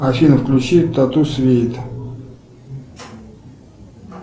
афина включи тату свит